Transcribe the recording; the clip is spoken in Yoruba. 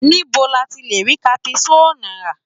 Níbo la ti lè rí caprisonne rà?